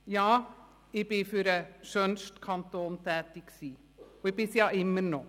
Ja, ich war für den schönsten Kanton tätig und bin es immer noch.